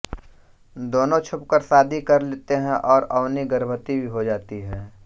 दोनों छुप कर शादी कर लेते हैं और अवनी गर्भवती भी हो जाती है